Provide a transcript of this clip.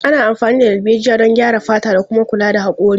Ana amfani da darbejiya don graya fata da kuma kula da hakori.